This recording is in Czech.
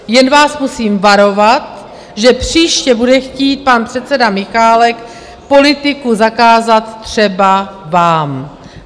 Jen vás musím varovat, že příště bude chtít pan předseda Michálek politiku zakázat třeba vám.